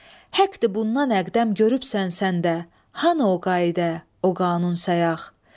Haqdır, bundan əqdəm görübsən sən də, hanı o qayda, o qanun sayıaq?